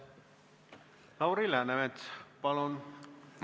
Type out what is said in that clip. Lauri Läänemets, palun!